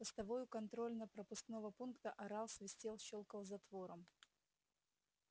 постовой у контрольно пропускного пункта орал свистел щёлкал затвором